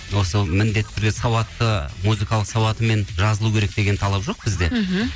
осы міндетті түрде сауатты музыкалық сауатымен жазылу керек деген талап жоқ бізде мхм